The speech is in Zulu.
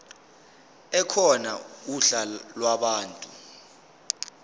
ekhona uhla lwabantu